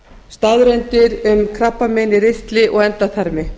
staðreyndir um krabbamein í ristli og endaþarmi